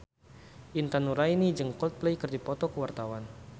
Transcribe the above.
Intan Nuraini jeung Coldplay keur dipoto ku wartawan